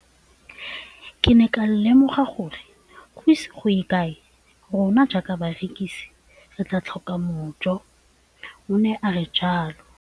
Ke ne ka lemoga gore go ise go ye kae rona jaaka barekise re tla tlhoka mojo, o ne a re jalo.